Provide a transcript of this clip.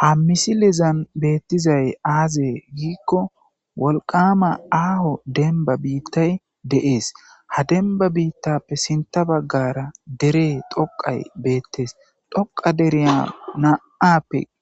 Ha misilezan betizay azze gikko wolqama aho denba bitay dees ha denba bitappe sinta bagara derey tokay bettes toqa deriya na'a